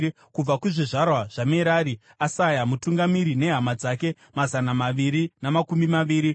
kubva kuzvizvarwa zvaMerari, Asaya mutungamiri nehama dzake mazana maviri namakumi maviri;